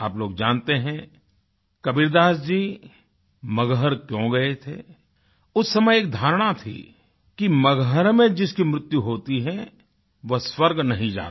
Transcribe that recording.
आप लोग जानते हैं कबीरदास जी मगहर क्यों गए थे उस समय एक धारणा थी कि मगहर में जिसकी मृत्यु होती है वह स्वर्ग नहीं जाता